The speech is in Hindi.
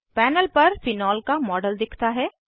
पैनल पर फेनोल का मॉडल दिखता है